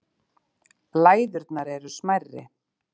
Læðurnar eru smærri.